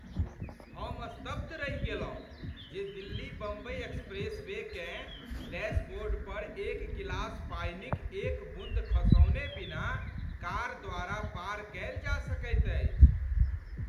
हम स्तब्ध रहि गेलहुँ जे दिल्ली बम्बइ एक्सप्रेसवेकेँ डैशबोर्ड पर एक गिलास पानिक एक बून्द खसौने बिना कार द्वारा पार कयल जा सकैत अछि।